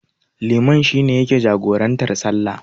Liman shi ne yake jagorantar sallah.